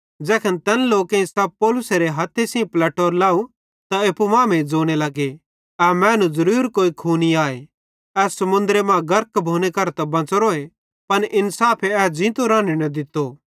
ज़ैखन तैन लोकेईं सप पौलुसेरे हथ्थे सेइं पलेटोरो लव त एप्पू मांमेइं ज़ोने लगे ए मैनू ज़रूर कोई खूनी आए ए समुन्द्रे मां गर्क भोने करां त बच़ोरोए पन इन्साफे ए ज़ींतो न राने न दित्तो